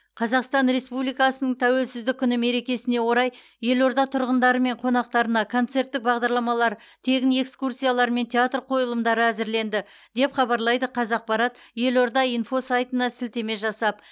қазақстан республикасының тәуелсіздік күні мерекесіне орай елорда тұрғындары мен қонақтарына концерттік бағдарламалар тегін экскурсиялар мен театр қойылымдары әзірленді деп хабарлайды қазақпарат елорда инфо сайтына сілтеме жасап